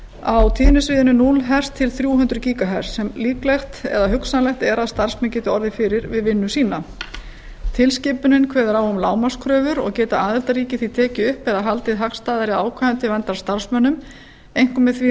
á tíðnisviðinu núll hz til þrjú hundruð ghz sem líklegt eða hugsanlegt er að starfsmenn geti orðið fyrir við vinnu sína tilskipunin kveður á um lágmarkskröfur og geta aðildarríki því tekið upp eða haldið hagstæðari ákvæðum til verndar starfsmönnum einkum með því að